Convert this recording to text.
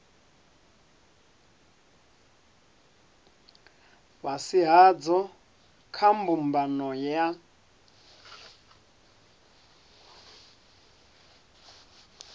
fhasi hadzo kha mbumbano ya